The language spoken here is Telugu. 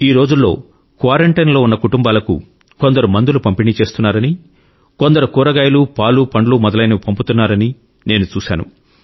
ఈ రోజుల్లో క్వారం టైన్ లో ఉన్న కుటుంబాలకు కొందరు మందులు పంపిణీ చేస్తున్నారని కొందరు కూరగాయలు పాలు పండ్లు మొదలైనవి పంపుతున్నారని నేను చూశాను